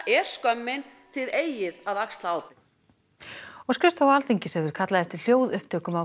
er skömmin þið eigið að axla ábyrgð skrifstofa Alþingis hefur kallað eftir hljóðupptökum af